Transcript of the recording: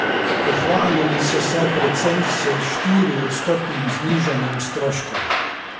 Pohvalili so se predvsem s štiriodstotnim znižanjem stroškov.